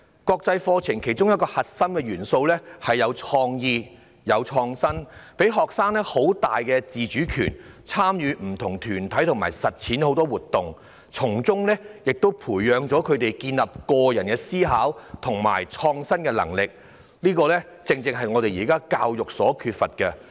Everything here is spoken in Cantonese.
國際課程其中一個核心元素是有創意和創新，給予學生很大的自主權，參與不同團體及實踐活動，從中培養他們建立個人的思考和創新的能力，這正正是現時教育所缺乏的。